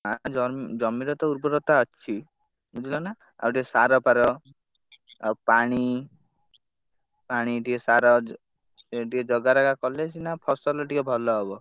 ଆ ଜମିରତ ଉର୍ବରତା ଅଛି ବୁଝିଲ ନା? ଆଉ ଟିକେ ସାର ଫାର ଆଉ ପାଣି ପାଣି ଟିକେ ସାର ଟିକେ ଜଗାରଖା କଲେ ସିନା ଫସଲ ଟିକେ ଭଲ ହବ।